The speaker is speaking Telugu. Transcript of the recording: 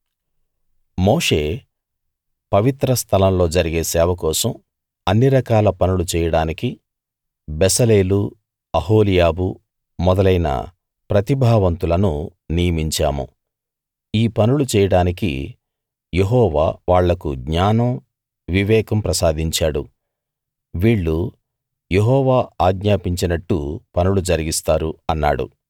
మోషే పవిత్ర స్థలం లో జరిగే సేవ కోసం అన్నిరకాల పనులు చేయడానికి బెసలేలు అహోలీయాబు మొదలైన ప్రతిభావంతులను నియమించాము ఈ పనులు చేయడానికి యెహోవా వాళ్లకు జ్ఞానం వివేకం ప్రసాదించాడు వీళ్ళు యెహోవా ఆజ్ఞాపించినట్టు పనులు జరిగిస్తారు అన్నాడు